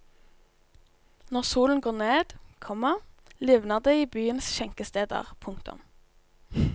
Når solen går ned, komma livner det i byens skjenkesteder. punktum